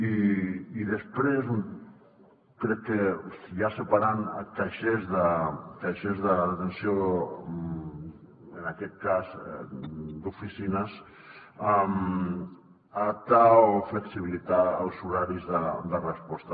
i després crec que ja separant caixers d’atenció en aquest cas d’oficines adaptar o flexibilitzar els horaris de resposta